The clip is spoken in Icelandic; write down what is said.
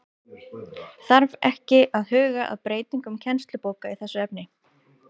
Þarf ekki að huga að breytingum kennslubóka í þessu efni?